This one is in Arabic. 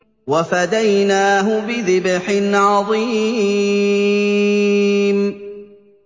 وَفَدَيْنَاهُ بِذِبْحٍ عَظِيمٍ